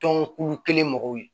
Tɔn kulu kelen mɔgɔw ye